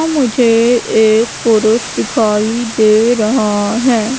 मुझे एक पुरूष दिखाई दे रहा हैं।